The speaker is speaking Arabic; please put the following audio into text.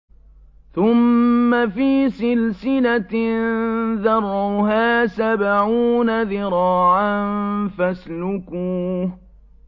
ثُمَّ فِي سِلْسِلَةٍ ذَرْعُهَا سَبْعُونَ ذِرَاعًا فَاسْلُكُوهُ